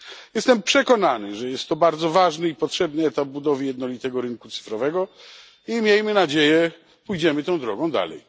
Jestem przekonany, że jest to bardzo ważny i potrzebny etap budowy jednolitego rynku cyfrowego i miejmy nadzieję, pójdziemy tą drogą dalej.